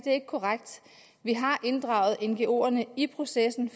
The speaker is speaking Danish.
er korrekt vi har inddraget ngoerne i processen